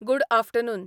good afternoon